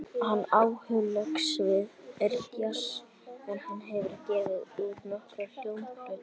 Hans aðaláhugasvið er djass en hann hefur gefið út nokkrar hljómplötur.